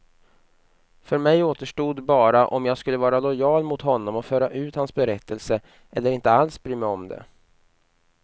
För mig återstod bara om jag skulle vara lojal mot honom och föra ut hans berättelse, eller inte alls bry mig om det.